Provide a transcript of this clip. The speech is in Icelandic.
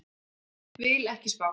Vil ekki spá.